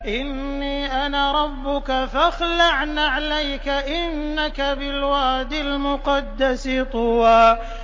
إِنِّي أَنَا رَبُّكَ فَاخْلَعْ نَعْلَيْكَ ۖ إِنَّكَ بِالْوَادِ الْمُقَدَّسِ طُوًى